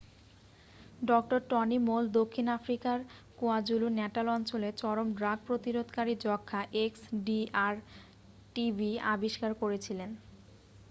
Doctor Tony Moll দক্ষিণ আফ্রিকার KwaZulu Natal অঞ্চলে চরম ড্রাগ প্রতিরোধকারী যক্ষ্মা xdr-tb আবিষ্কার করেছিলেন।